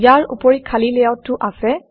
ইয়াৰ উপৰি খালী লেআউটো আছে